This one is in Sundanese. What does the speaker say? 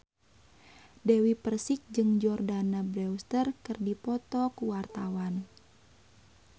Dewi Persik jeung Jordana Brewster keur dipoto ku wartawan